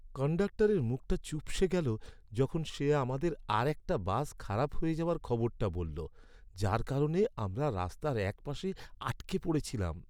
কন্ডাক্টরের মুখটা চুপসে গেলো যখন সে আমাদের আরেকটা বাস খারাপ হয়ে যাওয়ার খবরটা বলল, যার কারণে আমরা রাস্তার এক পাশে আটকে পড়েছিলাম।